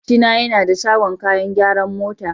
Makwabcina yana da shagon kayan gyaran mota.